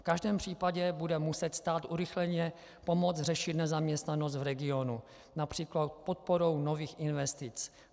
V každém případě bude muset stát urychleně pomoci řešit nezaměstnanost v regionu například podporou nových investic.